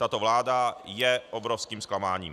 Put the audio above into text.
Tato vláda je obrovským zklamáním.